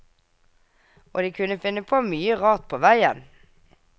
Og de kunne finne på mye rart på veien.